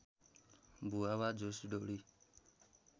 भुवा वा झुस ढुँडी